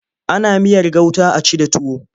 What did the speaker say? Ana miyar gauta a ci da tuwo.